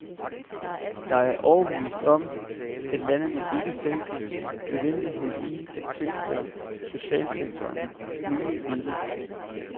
Jeg er overbevist om, at landene selv kan se nødvendigheden i at tilføre socialsektoren nye midler.